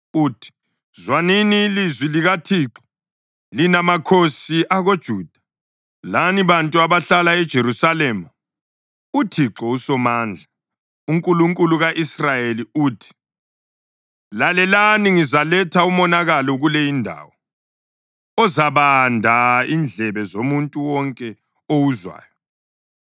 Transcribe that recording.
uthi, ‘Zwanini ilizwi likaThixo, lina makhosi akoJuda lani bantu abahlala eJerusalema. UThixo uSomandla, uNkulunkulu ka-Israyeli, uthi: Lalelani! Ngizaletha umonakalo kule indawo ozabanda indlebe zomuntu wonke owuzwayo.